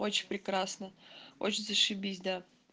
очень прекрасно очень зашибись да